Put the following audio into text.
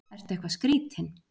Ertu eitthvað skrýtinn?